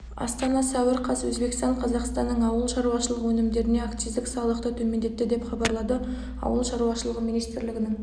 астана сәуір қаз өзбекстан қазақстанның ауыл шаруашылығы өнімдеріне акциздік салықты төмендетті деп хабарлады ауыл шаруашылығы министрлігінің